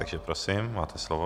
Takže prosím, máte slovo.